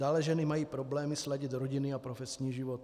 Dále ženy mají problémy sladit rodinný a profesní život.